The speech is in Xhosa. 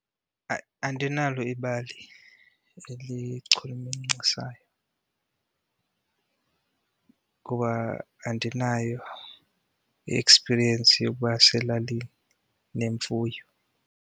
Hayi, andinalo ibali elichulumancisayo kuba andinayo iekspiriyensi yokuba selalini nemfuyo.